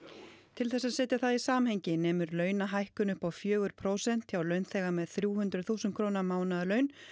til þess að setja það í samhengi nemur launahækkun upp á fjögur prósent hjá launþega með þrjú hundruð þúsund króna mánaðarlaun